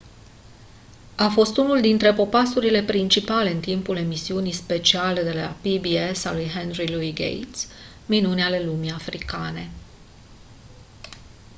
a fost unul dintre popasurile principale în timpul emisiunii speciale de la pbs a lui henry louis gates minuni ale lumii africane